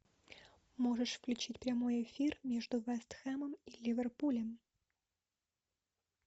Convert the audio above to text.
можешь включить прямой эфир между вест хэмом и ливерпулем